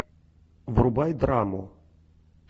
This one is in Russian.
врубай драму